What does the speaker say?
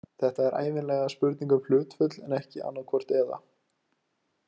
Þetta er ævinlega spurning um hlutföll en ekki annaðhvort eða.